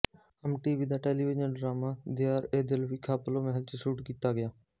ਹਮ TV ਦਾ television drama ਦਿਆਰਏਦਿਲ ਵੀ ਖ਼ਪਲੋ ਮਹਿਲ ਚ ਸ਼ੂਟ ਕੀਤਾ ਗਿਆ